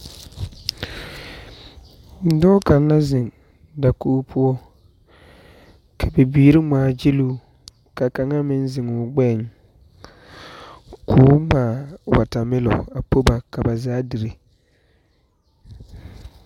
Dɔɔ kaŋa la zeŋ dakogi poɔ, ka bibiiri ŋmaa gyiloo, ka kaŋa meŋ zeŋ o gbɛɛŋ, kɔɔ ŋmaa watermelon a po ba ka ba zaa dire.